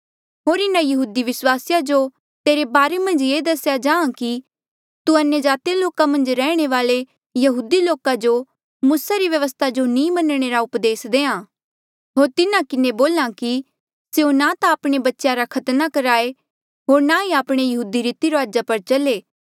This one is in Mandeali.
होर इन्हा यहूदी विस्वासिया जो तेरे बारे मन्झ ये दसेया जाहाँ कि तू अन्यजाति लोका मन्झ रैहणे वाल्ऐ यहूदी लोका जो मूसा री व्यवस्था जो नी मनणे री उपदेस देहां होर तिन्हा किन्हें बोल्हा कि स्यों ना ता आपणे बच्चेया रा खतना कराए होर ना ई आपणे यहूदी रीति रूआजा पर चले